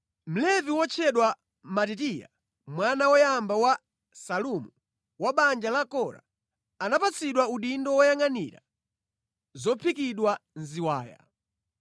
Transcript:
Mlevi wotchedwa Matitiya mwana woyamba wa Salumu wa mʼbanja la Kora, anapatsidwa udindo woyangʼanira zophikidwa mʼziwaya.